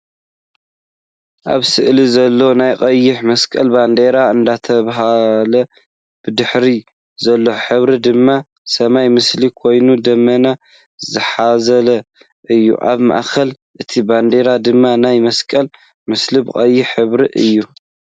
ኣብ ስእሊ ዘሎ ናይ ቀይሕ መስቀል ባንደራ እንዳተውለብለወ ብድሕሪኡ ዘሎ ሕብሪ ድማ ናይ ሰማይ ምስሊ ኮይኑ ደመና ዝሓዘለ እዩ። ኣብ ማእኸል እቲ ባንዴራ ድማ ናይ መስቀል ምስሊ ብቀይሕ ሕብሪ እዩ።